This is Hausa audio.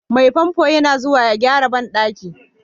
Mai famfo yana zuwa ya gyara bandaki.